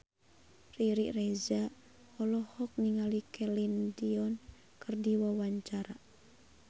Riri Reza olohok ningali Celine Dion keur diwawancara